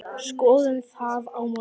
Skoðum það á morgun.